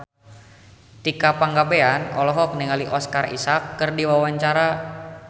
Tika Pangabean olohok ningali Oscar Isaac keur diwawancara